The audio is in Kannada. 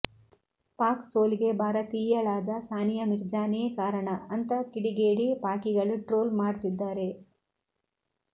ಪಾಕ್ ಸೋಲಿಗೆ ಭಾರತೀಯಳಾದ ಸಾನಿಯಾ ಮಿರ್ಜಾನೇ ಕಾರಣ ಅಂತ ಕಿಡಿಗೇಡಿ ಪಾಕಿಗಳು ಟ್ರೋಲ್ ಮಾಡ್ತಿದ್ದಾರೆ